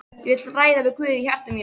Ég vil ræða við Guð í hjarta mínu.